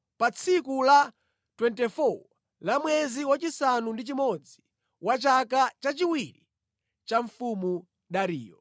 pa tsiku la 24 la mwezi wachisanu ndi chimodzi, wa chaka chachiwiri cha Mfumu Dariyo.